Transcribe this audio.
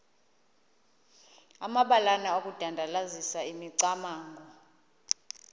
amabalana okudandalazisa imicamango